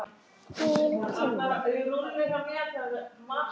Þín Tanya.